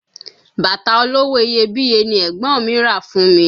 Bàtà olówó iyebíye ni ẹ̀gbọ́n mi rà fún mi